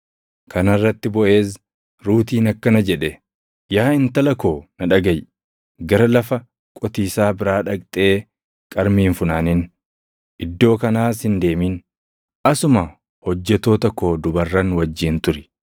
Kana irratti Boʼeez Ruutiin akkana jedhe; “Yaa intala koo na dhagaʼi. Gara lafa qotiisaa biraa dhaqxee qarmii hin funaanin; iddoo kanaas hin deemin. Asuma hojjettoota koo dubarran wajjin turi.